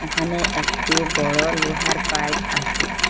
এখানে একটি বড় লোহার পাইপ আসে।